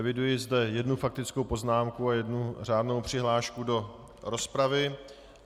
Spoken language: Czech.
Eviduji zde jednu faktickou poznámku a jednu řádnou přihlášku do rozpravu.